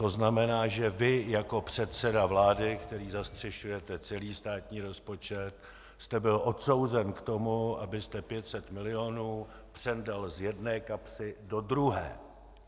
To znamená, že vy jako předseda vlády, který zastřešujete celý státní rozpočet, jste byl odsouzen k tomu, abyste 500 milionů přendal z jedné kapsy do druhé.